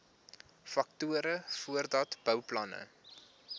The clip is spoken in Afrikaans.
faktore voordat bouplanne